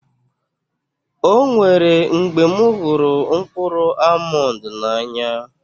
Ọ nwèrè mgbè m hụrụ mkpụrụ almọnd n'anya